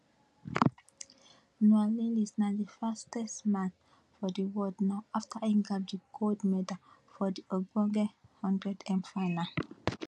noah lyles na di fastest man for di world now afta e grab di gold medal for di ogbonge 100m final